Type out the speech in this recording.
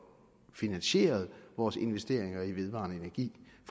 finansieret vores investeringer i vedvarende energi